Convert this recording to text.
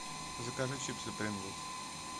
закажи чипсы принглс